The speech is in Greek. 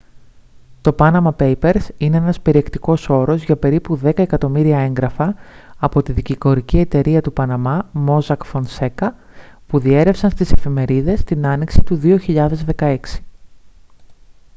το «panama papers» είναι ένας περιεκτικός όρος για περίπου δέκα εκατομμύρια έγγραφα από τη δικηγορική εταιρεία του παναμά mossack fonseca που διέρρευσαν στις εφημερίδες την άνοιξη του 2016